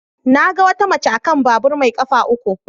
Na ga wata mace a kan babur mai kafa uku.